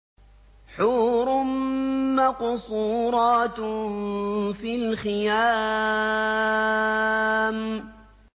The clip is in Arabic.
حُورٌ مَّقْصُورَاتٌ فِي الْخِيَامِ